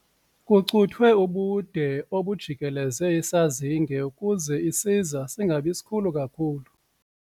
Kucuthwe ubude obujikeleze isazinge ukuze isiza singabi sikhulu kakhulu.